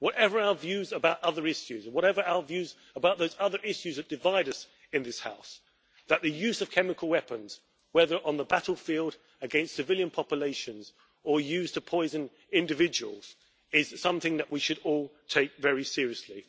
Whatever our views about other issues and whatever our views about those other issues that divide us in this House, the use of chemical weapons whether on the battlefield, against civilian populations or used to poison individuals, is something that we should all take very seriously.